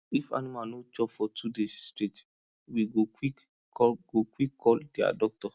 if animal no chop for two days straight we go quick call go quick call dia doctor